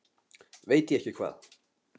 Veit ég hvað ekki?